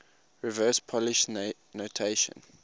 reverse polish notation